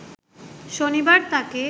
শনিবার তাকে